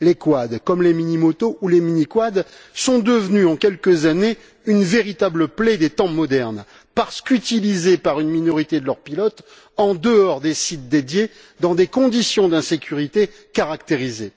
Les quads, comme les mini motos ou les mini quads, sont devenus en quelques années une véritable plaie des temps modernes parce qu'utilisés par une minorité de leurs pilotes en dehors des sites dédiés, dans des conditions d'insécurité caractérisées.